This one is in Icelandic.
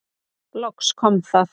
Loks kom það.